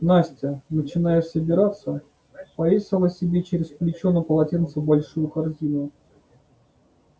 настя начиная собираться повесила себе через плечо на полотенце большую корзину